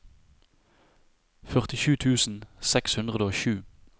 førtisju tusen seks hundre og sju